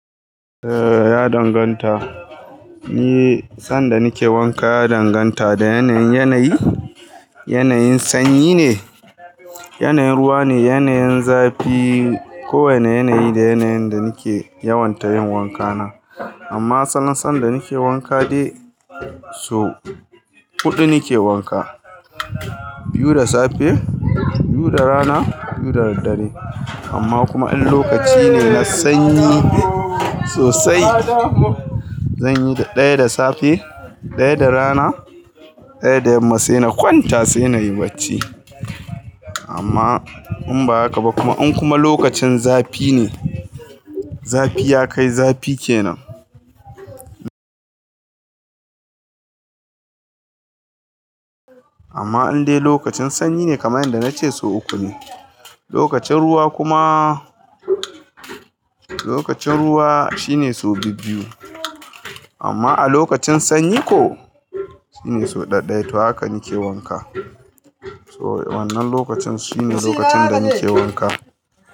Eh ya danganta. Ni sanda nake wanka ya danganta da yanayin. Yanayi, yanayin sanyi ne, yanayin ruwa ne, yanayin zafi. Kowane yanayi da yanayin da nake yawan ta yin wankana. Amma salon sanda nake wanka dai so huɗu nake wanka. Biyu da safe, biyu da rana, biyu da daddare. Amma kuma in lokaci ne na sanyi sosai, zan yi ɗaya da safe, ɗaya da rana, ɗaya da yamma sai na kwanta sai nayi bacci. Amma in ba haka ba kuma in kuma lokacin zafi ne, zafi ya kai zafi kenan. Amma in dai lokacin sanyi ne kamar yadda nace so uku ne. Lokacin ruwa kuma, lokacin ruwa shine so biyu-biyu. Amma a lokacin sanyi ko, shine so ɗai-ɗai. To haka nake wanka. So wannan lokacin sune lokacin danike wanka.